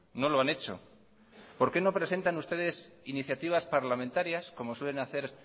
no lo han hecho por qué no presentan ustedes iniciativas parlamentarias como suelen hacer